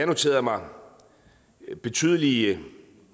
noteret mig at betydelige